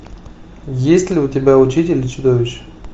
есть ли у тебя учитель и чудовище